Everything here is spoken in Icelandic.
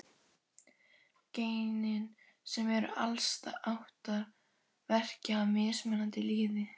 Genin, sem eru alls átta, verka á mismunandi liði.